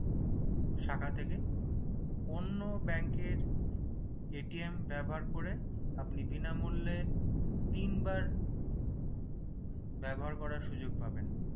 শাখা থেকে অন্য bank এর ব্যবহার করে আপনি বিনামূল্যে তিনবার ব্যবহার করার সুযোগ পাবেন